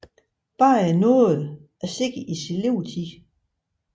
Barrie nåede at se i sin levetid